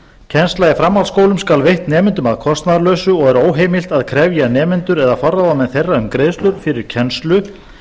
kennsla í framhaldsskólum skal veitt nemendum að kostnaðarlausu og er óheimilt að krefja nemendur eða forráðamenn þeirra um greiðslur fyrir kennslu